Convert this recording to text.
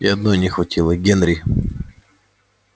и одной не хватило генри